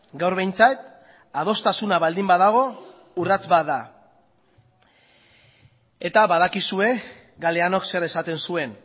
gaur behintzat adostasuna baldin badago urrats bat da eta badakizue galeanok zer esaten zuen